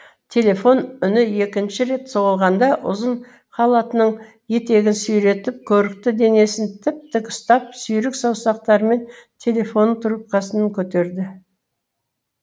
телефон үні екінші рет соғылғанда ұзын халатының етегін сүйретіп көрікті денесін тіп тік ұстап сүйрік саусақтарымен телефонның трубкасына көтерді